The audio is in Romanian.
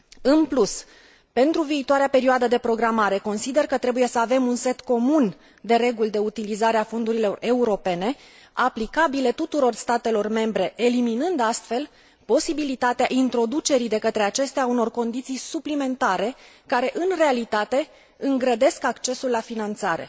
În plus, pentru viitoarea perioadă de programare, consider că trebuie să avem un set comun de reguli de utilizare a fondurilor europene aplicabile tuturor statelor membre, eliminând astfel posibilitatea introducerii de către acestea a unor condiții suplimentare care, în realitate, îngrădesc accesul la finanțare.